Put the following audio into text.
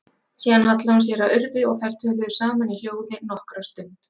Síðan hallaði hún sér að Urði og þær töluðu saman í hljóði nokkra stund.